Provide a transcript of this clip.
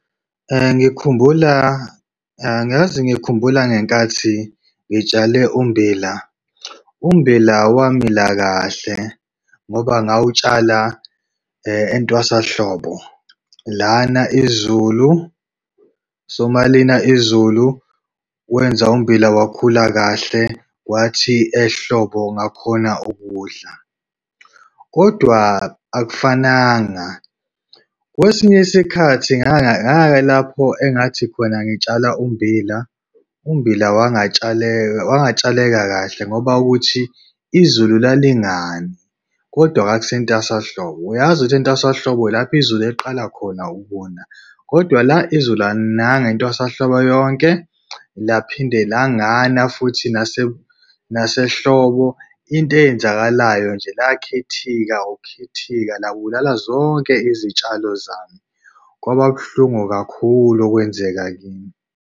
Ngikhumbula angazi ngikhumbula ngenkathi ngitshale ummbila. Ummbila wamila kahle, ngoba ngawutshala entwasahlobo. Lana izulu, so uma lina izulu, wenza ummbila wakhula kahle. Kwathi ehlobo ngakhona ukuwudla, kodwa akufananga. Kwesinye isikhathi engathi khona ngitshala ummbila, ummbila wangatshaleka, wangatshaleka kahle, ngoba kuthi izulu lalingani, kodwa kwakusentwasahlobo. Uyazi ukuthi entwasahlobo ilapho izulu eliqala khona ukuna. Kodwa la izulu alinanga intwasahlobo yonke, laphinde langana futhi nasesehlobo. Into eyenzakalayo nje lakhithika ukukhithika, labulala zonke izitshalo zami. Kwababuhlungu kakhulu okwenzeka kimi.